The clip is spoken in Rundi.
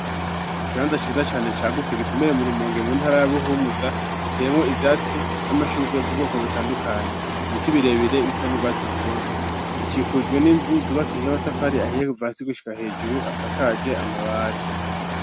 Ikibanda ciza cane cagutse gitumbereye mu Rumonge mu ntara ya Buhumuza, giteyemwo ivyatsi n'amashurwe vy'ubwoko butandukanye. Ibiti birebire bisa n'urwatsi rutoto. Gikikujwe n'inzu zubakije amatafari ahiye kuva hasi gushika hejuru asakaje amabati.